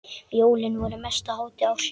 Jólin voru mesta hátíð ársins.